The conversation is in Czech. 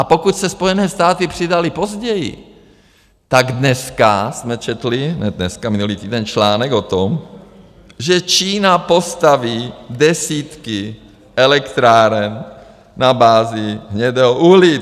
A pokud se Spojené státy přidaly později, tak dneska jsme četli, hned dneska, minulý týden, článek o tom, že Čína postaví desítky elektráren na bázi hnědého uhlí.